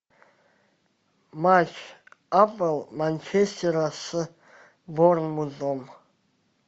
матч апл манчестера с борнмутом